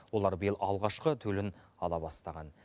олар биыл алғашқы төлін ала бастаған